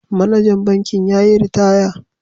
Manajan bankin ya yi ritaya.